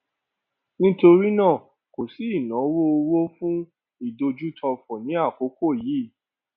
nítorí náà kò sí ìnáwó owó fún ìdójútòfò ní àkókò yìí